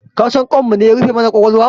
Kasan kanmune ya rufe mana ƙwaƙwalwa?